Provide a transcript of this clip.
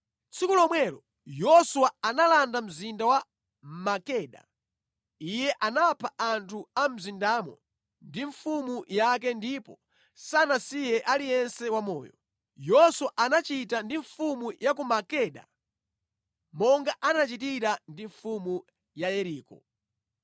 Tsiku lomwelo Yoswa analanda mzinda wa Makeda. Iye anapha anthu a mu mzindamo ndi mfumu yake ndipo sanasiye aliyense wamoyo. Yoswa anachita ndi mfumu ya ku Makeda monga anachitira ndi mfumu ya Yeriko.